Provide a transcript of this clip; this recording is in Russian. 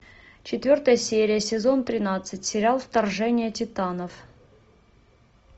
четвертая серия сезон тринадцать сериал вторжение титанов